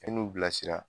E n'u bilasira